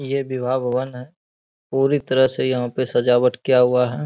ये विवाह भवन है पूरी तरह से यहाँ पे सजावट किया हुआ है।